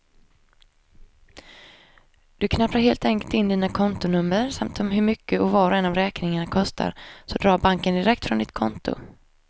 Du knappar helt enkelt in dina kontonummer samt hur mycket var och en av räkningarna kostar, så drar banken direkt från ditt konto.